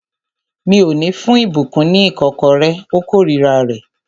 Mi ò ní fún ìbùkún ní ìkọ́kọrẹ́. Ó kórira rẹ̀